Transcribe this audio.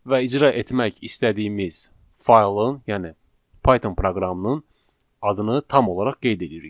və icra etmək istədiyimiz faylın, yəni Python proqramının adını tam olaraq qeyd eləyirik.